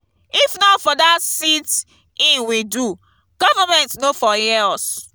if not for dat sit-in we do government no for hear us